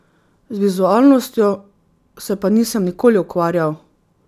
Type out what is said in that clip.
Z vizualnostjo se pa nisem nikoli ukvarjal.